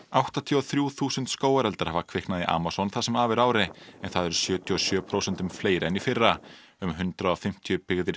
áttatíu og þrjú þúsund skógareldar hafa kviknað í Amazon það sem af er ári en það eru sjötíu og sjö prósentum fleiri en í fyrra um hundrað og fimmtíu byggðir